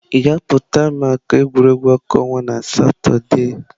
Ị ga-apụta maka egwuregwu ọkụ ọnwa na Satọde?